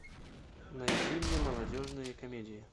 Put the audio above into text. найди мне молодежные комедии